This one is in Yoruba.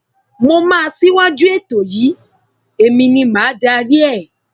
mo máa ṣíwájú ètò yìí èmi ni mà á darí ẹ